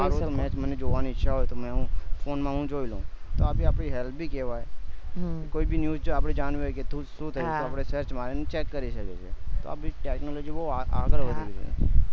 જોઈ શકો મને match જોવાની ઈચ્છા હોય તો મેં હું ફોન માં હું જોઈ લઉં તો આ આપડી help બી કેવાય કોઈ બી news આપડે જાણવી હોય કે સુ શું થયું ચગે આપડે search મારી ને આપણે check કરી શકીએ છીએ તો આપડી technology બહુ આગળ વધી ગયી છે